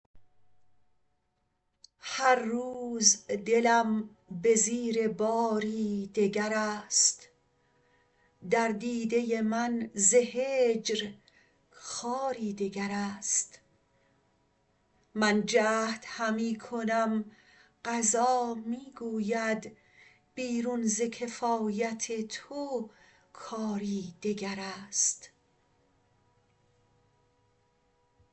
هر روز دلم به زیر باری دگر است در دیده من ز هجر خاری دگر است من جهد همی کنم قضا می گوید بیرون ز کفایت تو کاری دگر است